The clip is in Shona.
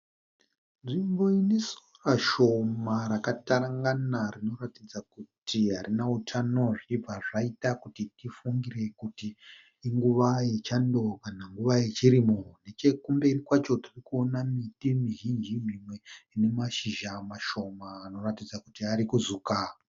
Nzvimbo ine sora shoma rakatarangana rinoratidza kuti harina utano zvichibva zvaita kuti tibva tifungire kuti inguva yechando kana nguva yechirimo. Nechekumberi kwacho tirikuona miti mizhinji mimwe ine mashizha mashoma anoratidza kuti arikuzuka.